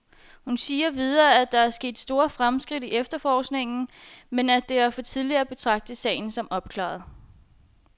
Hun siger videre, at der er sket store fremskridt i efterforskningen, men at det er for tidligt at betragte sagen som opklaret.